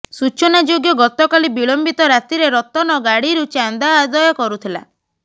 ସୂଚନା ଯୋଗ୍ୟ ଗତକାଲି ବିଳମ୍ବିତ ରାତିରେ ରତନ ଗାଡ଼ିରୁ ଚାନ୍ଦା ଆଦାୟ କରୁଥିଲା